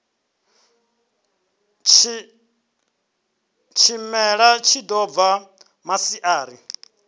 tshimela tshi ḓo bva maṱari